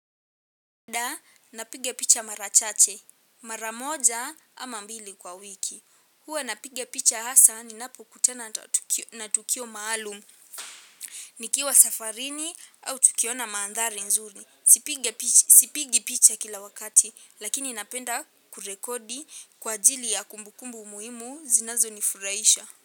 Dah, napiga picha mara chache mara moja ama mbili kwa wiki, huwa napiga picha hasaa ninapo kutana na tukio maalum nikiwa safarini au tukiona mandhari nzuri. Sipigi picha kila wakati, lakini napenda kurekodi kwa ajili ya kumbukumbu muhimu zinazonifurahisha.